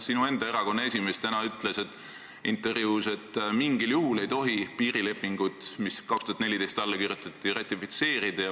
Sinu enda erakonna esimees ütles täna intervjuus, et mingil juhul ei tohi piirilepingut, mis 2014. aastal alla kirjutati, ratifitseerida.